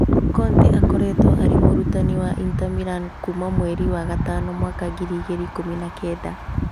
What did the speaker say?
Conte akoretwo arĩ mũrutani wa Inter Milan kuma mweri wa gatano mwaka ngiri igĩrĩ ikũmi na kenda